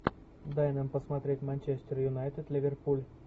дай нам посмотреть манчестер юнайтед ливерпуль